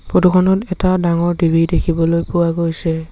Photo খনত এটা ডাঙৰ টি_ভি দেখিবলৈ পোৱা গৈছে।